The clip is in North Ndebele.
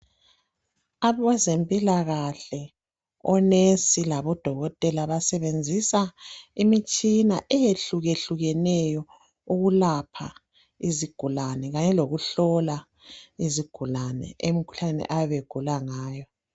Abezempilakahle, onesi labodokotela basebenzisa imitshina eyehlukehlukeneyo ukulapha izigulane kanye lokuhlola izigulane emkhuhlaneni abayebe begula ngayo.